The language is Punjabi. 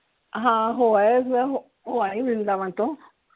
ਹਾਂ ਹੋ ਆਏ, ਹੋ ਆਈ ਵ੍ਰਿੰਦਾਵਨ ਤੋਂ।